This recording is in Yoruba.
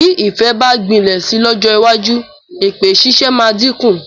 Bí ìfẹ́ bá gbilẹ̀ si lọ́jọ́ iwájú, èpè ṣíṣe máa dínkù.